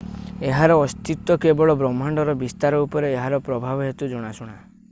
ଏହାର ଅସ୍ତିତ୍ୱ କେବଳ ବ୍ରହ୍ମାଣ୍ଡର ବିସ୍ତାର ଉପରେ ଏହାର ପ୍ରଭାବ ହେତୁ ଜଣାଶୁଣା